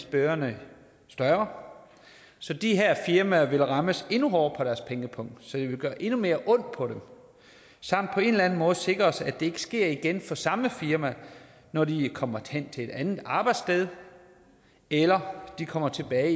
bøderne større så de her firmaer vil rammes endnu hårdere på deres pengepung så det vil gøre endnu mere ondt på dem samt på en eller anden måde sikre os at det ikke sker igen for samme firma når de kommer hen til et andet arbejdssted eller kommer tilbage